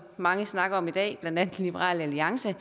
mange snakker om i dag blandt andet liberal alliance